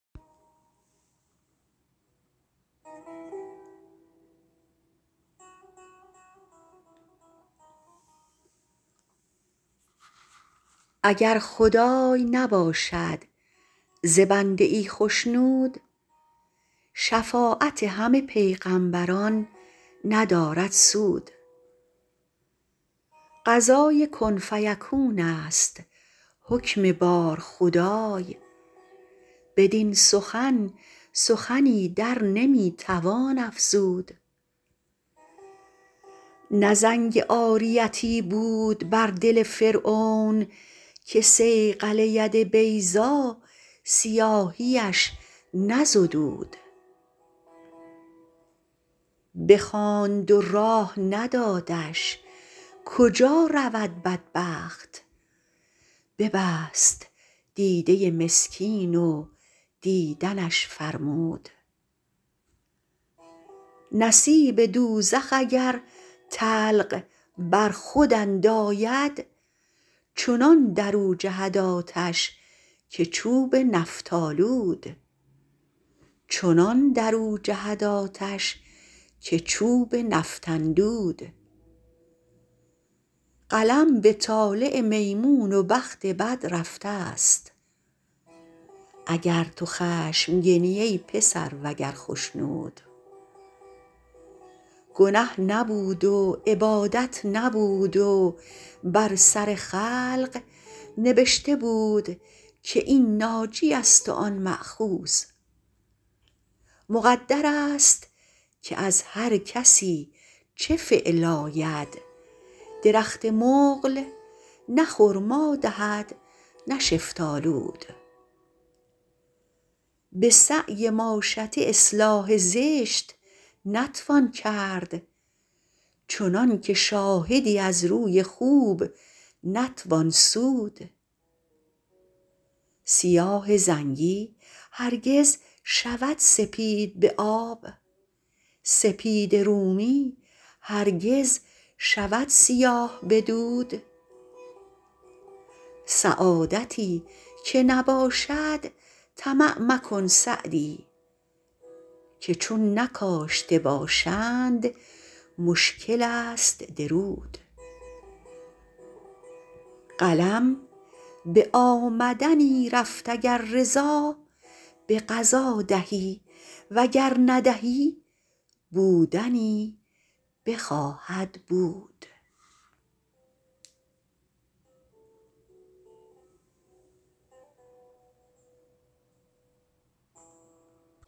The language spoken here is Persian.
اگر خدای نباشد ز بنده ای خشنود شفاعت همه پیغمبران ندارد سود قضای کن فیکون است حکم بار خدای بدین سخن سخنی در نمی توان افزود نه زنگ عاریتی بود بر دل فرعون که صیقل ید بیضا سیاهیش نزدود بخواند و راه ندادش کجا رود بدبخت ببست دیده مسکین و دیدنش فرمود نصیب دوزخ اگر طلق بر خود انداید چنان در او جهد آتش که چوب نفط اندود قلم به طالع میمون و بخت بد رفته ست اگر تو خشمگنی ای پسر وگر خشنود گنه نبود و عبادت نبود و بر سر خلق نبشته بود که این ناجی است و آن مأخوذ مقدر است که از هر کسی چه فعل آید درخت مقل نه خرما دهد نه شفتالود به سعی ماشطه اصلاح زشت نتوان کرد چنان که شاهدی از روی خوب نتوان سود سیاه زنگی هرگز شود سپید به آب سپید رومی هرگز شود سیاه به دود سعادتی که نباشد طمع مکن سعدی که چون نکاشته باشند مشکل است درود قلم به آمدنی رفت اگر رضا به قضا دهی و گر ندهی بودنی بخواهد بود